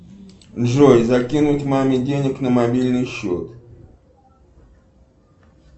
джой закинуть маме денег на мобильный счет